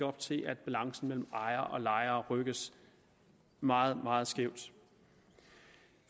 op til at balancen mellem ejere og lejere rykkes meget meget skæv